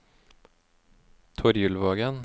Torjulvågen